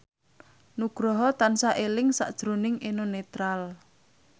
Nugroho tansah eling sakjroning Eno Netral